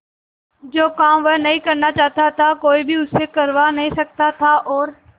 जो काम वह नहीं करना चाहता वह कोई भी उससे करवा नहीं सकता था और